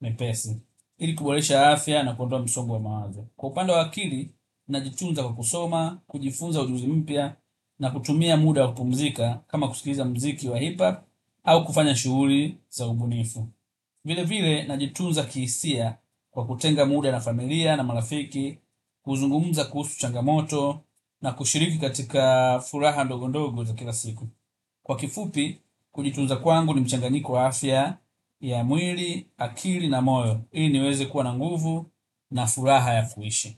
mepesi. Ili kuboresha afya na kuondoa msongo wa mawazo. Kwa upanda wa akili, najitunza kwa kusoma, kujifunza ujuzi mpya na kutumia muda wa kupumzika kama kusikiza mziki wa hip hop au kufanya shuguli za ubunifu. Vile vile, najitunza kihisia kwa kutenga muda na familia na marafiki, huzungumza kuhusu changamoto na kushiriki katika furaha ndogo ndogo za kila siku. Kwa kifupi, kujitunza kwangu ni mchanganyiko wa afya ya mwili, akili na moyo. Ili niweze kuwa na nguvu na furaha ya kuishi.